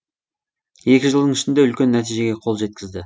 екі жылдың ішінде үлкен нәтижеге қол жеткізді